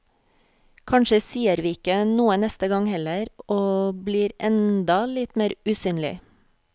Kanskje sier vi ikke noe neste gang heller, og blir enda litt mer usynlig.